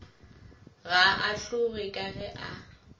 ga ahlowe ka ge a